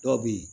Dɔw be ye